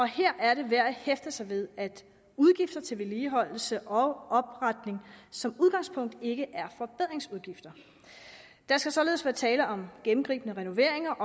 her er det værd at hæfte sig ved at udgifter til vedligeholdelse og opretning som udgangspunkt ikke er forbedringsudgifter der skal således være tale om gennemgribende renoveringer